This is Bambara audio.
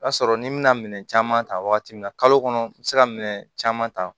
O y'a sɔrɔ ni n bɛna minɛn caman ta wagati min na kalo kɔnɔ n bɛ se ka minɛn caman ta